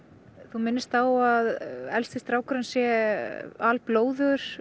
þú minnist á að elsti strákurinn sé